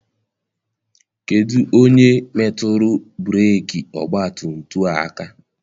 Kedụ onye metụrụ breeki ọgbatumtum a aka?